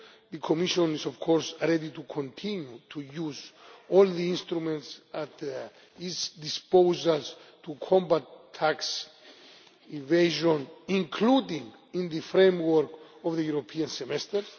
The Commission is, of course, ready to continue to use all the instruments at its disposal to combat tax evasion, including in the framework of the European Semester.